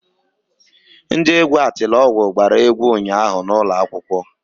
Ndị egwu Atilogwu gbara egwu ụnyaahụ n'ụlọ akwụkwọ.